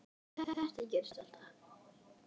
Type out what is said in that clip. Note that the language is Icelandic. Það get ég ekki